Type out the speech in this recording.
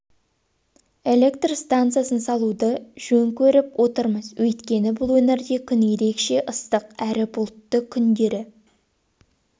электр станциясын салуды жөн көріп отырмыз өйткені бұл өңірде күн ерекше ыстық әрі бұлтты күндері